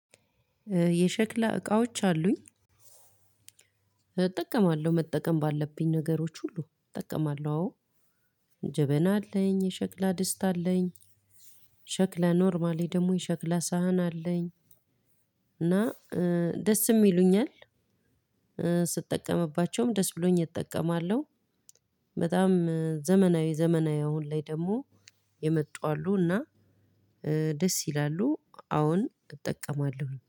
የሸክላ እቃዎች አሉኝ እጠቀማለሁ መጠቀም ባለብኝ ነገሮች ሁሉ እጠቀማለሁ አዎ ጀበና አለኝ የሸክላ ደስጥ አለኝ ሸክላ ኖርማሊ ደግሞ የሸክላ ሳህን አለኝ እና ደስም ይሉኛል ስጠቀምባቸውም ደስ ብሎኝ እጠቀማለሁ በጣም ዘመናዊ ዘመናዊ አሁን ላይ ደግሞ የመጡ አሉና ደስ ይላሉ አዎን እጠቀማለሁ።